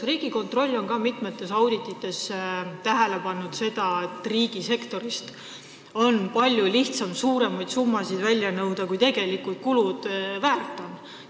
Riigikontroll on mitmes auditis juhtinud tähelepanu sellele, et riigisektoris on palju lihtsam nõuda välja suuremaid summasid, kui tegelikud kulud väärt on.